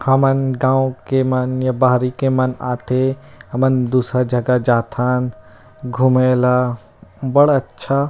हमन गाँव के मन या बाहरी के मन आथे हमन दूसर जगह जाथन घुमे ला बड़ अच्छा--